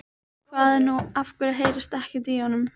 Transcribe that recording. Hvað er nú, af hverju heyrist ekkert í honum?